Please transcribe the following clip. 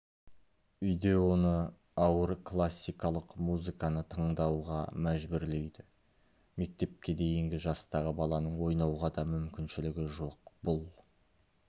үйде оны ауыр классикалық музыканы тыңдауға мәжбүрлейді мектепке дейінгі жастағы баланың ойнауға да мүмкіншілігі жоқ бұл